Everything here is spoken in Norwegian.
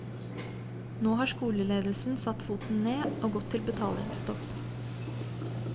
Nå har skoleledelsen satt foten ned, og gått til betalingsstopp.